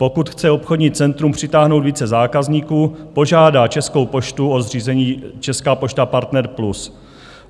Pokud chce obchodní centrum přitáhnout více zákazníků, požádá Českou poštu o zřízení Česká pošta Partner Plus.